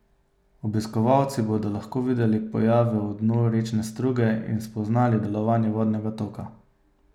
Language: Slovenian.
Obiskovalci bodo lahko videli pojave v dnu rečne struge in spoznali delovanje vodnega toka.